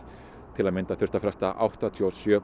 til að mynda þurfti að fresta áttatíu og sjö